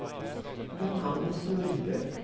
Johannes Nordbø